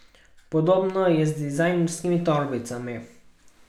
Podobno je s dizajnerskimi torbicami.